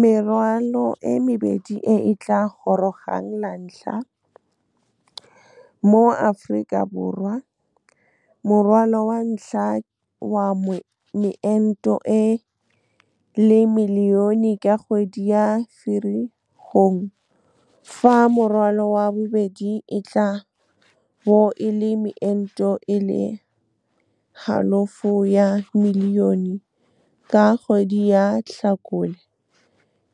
Merwalo e mebedi e e tla gorogang lantlha mo Aforika Borwa, morwalo wa ntlha wa meento e le milione ka kgwedi ya Firikgong fa morwalo wa bobedi e tla bo e le meento e le halofo ya milione ka kgwedi ya Tlhakole,